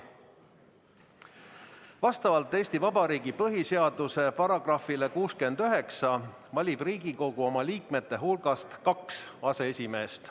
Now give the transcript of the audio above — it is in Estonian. Vastavalt Eesti Vabariigi põhiseaduse §-le 69 valib Riigikogu oma liikmete hulgast kaks aseesimeest.